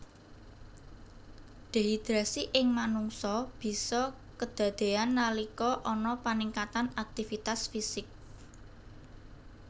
Dehidrasi ing manungsa bisa kedadéyan nalika ana paningkatan aktivitas fisik